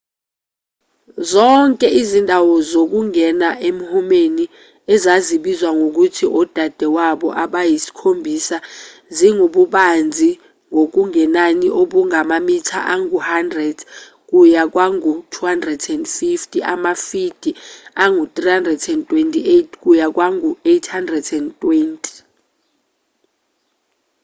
zonke izindawo zokungena emhumeni ezazibizwa ngokuthi odadewabo abayisikhombisa zingububanzi ngokungenani obungamamitha angu-100 kuya kwangu-250 amafidi angu-328 kuya kwangu-820